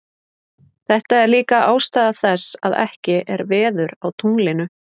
Þetta er líka ástæða þess að ekki er veður á tunglinu.